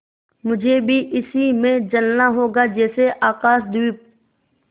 मुझे भी इसी में जलना होगा जैसे आकाशदीप